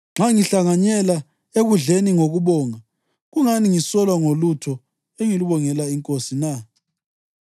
Nxa ngihlanganyela ekudleni ngokubonga, kungani ngisolwa ngolutho engilubongela iNkosi na?